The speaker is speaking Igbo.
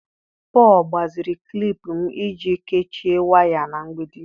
Paul gbaziri klip m iji kechie waya na mgbidi.